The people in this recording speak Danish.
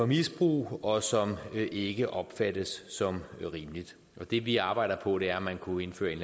misbrug og som ikke opfattes som rimeligt det vi arbejder på er at man kunne indføre en